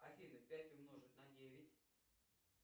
афина пять умножить на девять